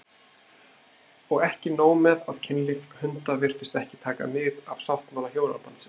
Og ekki nóg með að kynlíf hunda virtist ekki taka mið af sáttmála hjónabandsins